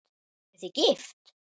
Eruð þið gift?